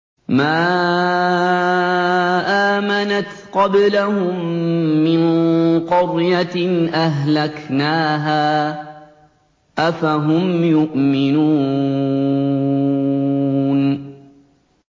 مَا آمَنَتْ قَبْلَهُم مِّن قَرْيَةٍ أَهْلَكْنَاهَا ۖ أَفَهُمْ يُؤْمِنُونَ